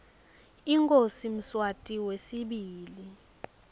inkhosi mswati wesibili